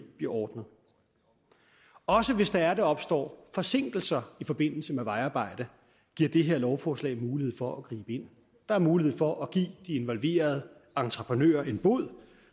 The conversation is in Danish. bliver ordnet også hvis der opstår forsinkelser i forbindelse med vejarbejde giver det her lovforslag mulighed for at gribe ind der er mulighed for at give de involverede entreprenører en bod